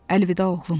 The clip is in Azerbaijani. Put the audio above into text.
Əlvida oğlum.